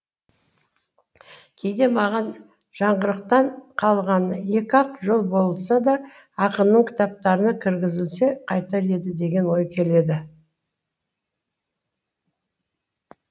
кейде маған жаңғырықтан қалғаны екі ақ жол болса да ақынның кітаптарына кіргізілсе қайтер еді деген ой келеді